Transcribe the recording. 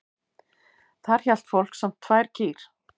Þar hélt fólk samt tvær kýr.